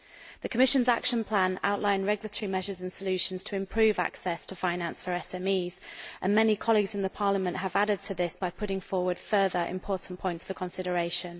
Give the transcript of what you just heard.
The Commission's action plan outlines regulatory measures and solutions to improve access to finance for SMEs, and many colleagues in Parliament have added to this by putting forward further important points for consideration.